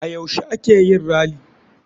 A yaushe a keyin rally?